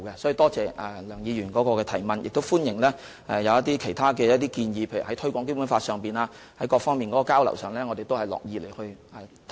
所以，多謝梁議員的補充質詢，我亦歡迎其他建議，例如在各方面就推廣《基本法》的交流上，我們都樂意進行討論。